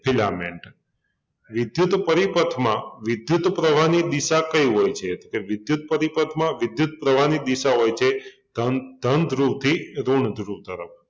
filament વિદ્યુત પરિપથમાં વિદ્યુત પ્રવાહની દિશા કઈ હોય છે? તે વિદ્યુત પરિપથમાં વિદ્યુત પ્રવાહની દિશા હોય છે ધન ધન ધ્રુવથી ઋણ ધ્રુવ તરફ